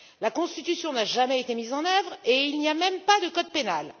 La Constitution n'a jamais été mise en œuvre et il n'y a même pas de code pénal.